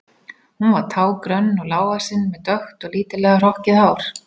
Hún var tággrönn og lágvaxin með dökkt og lítillega hrokkið hár.